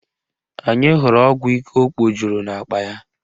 Anyị hụrụ ọgwụ ike o kpojuru n'akpa ya